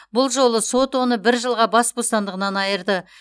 бұл жолы сот оны бір жылға бас бостандығынан айырды